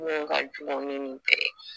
Mun ka jugu ni nin bɛɛ ye